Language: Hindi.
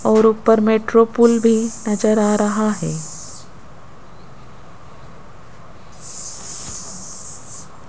और ऊपर मेट्रो पुल भी नजर आ रहा है।